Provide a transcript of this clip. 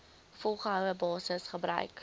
volgehoue basis gebruik